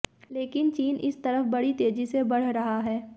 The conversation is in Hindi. लेकिन चीन इस तरफ बड़ी तेजी से बढ़ रहा है